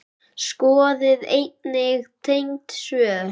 Skoðið einnig tengd svör